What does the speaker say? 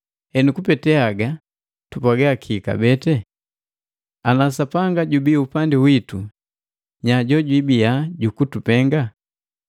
Henu kupete haga tupwaga kii ngane? Ana Sapanga jubii upandi witu nya jojwibia jukutupenga?